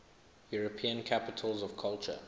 european capitals of culture